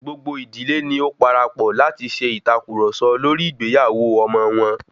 Gbogbo ìdílé ni ó parapọ̀ láti ṣe ìtàkurọ̀sọ lórí ìgbéyàwó ọmọ wọn.